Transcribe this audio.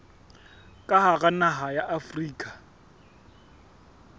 ka hara naha ya afrika